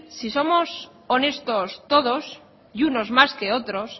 si somos honestos todos y unos más que otros